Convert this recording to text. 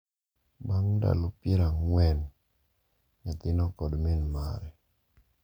Bang’ ndalo pier ang'wen, nyathino kod min mare,